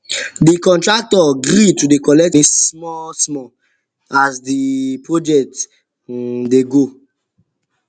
de contractor gree to dey collect small as the project um dey go